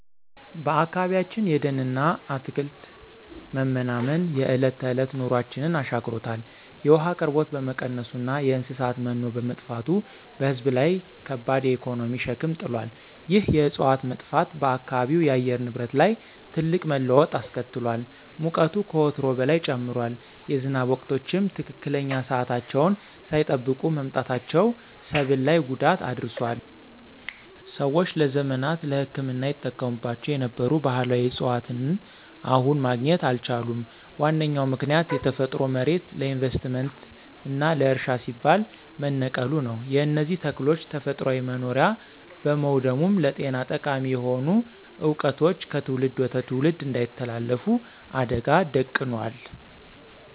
በአካባቢያችን የደንና አትክልት መመናመን የዕለት ተዕለት ኑሯችንን አሻክሮታል። የውሃ አቅርቦት በመቀነሱና የእንስሳት መኖ በመጥፋቱ በሕዝብ ላይ ከባድ የኢኮኖሚ ሸክም ጥሏል። ይህ የዕፅዋት መጥፋት በአካባቢው የአየር ንብረት ላይ ትልቅ መለዋወጥ አስከትሏል። ሙቀቱ ከወትሮው በላይ ጨምሯል፤ የዝናብ ወቅቶችም ትክክለኛ ሰዓታቸውን ሳይጠብቁ መምጣታቸው ሰብል ላይ ጉዳት አድርሷል። ሰዎች ለዘመናት ለሕክምና ይጠቀሙባቸው የነበሩ ባሕላዊ ዕፅዋትን አሁን ማግኘት አልቻሉም። ዋነኛው ምክንያት የተፈጥሮ መሬት ለኢንቨስትመንትና ለእርሻ ሲባል መነቀሉ ነው። የእነዚህ ተክሎች ተፈጥሯዊ መኖሪያ በመውደሙም ለጤና ጠቃሚ የሆኑ ዕውቀቶች ከትውልድ ወደ ትውልድ እንዳይተላለፉ አደጋ ደቅኗል።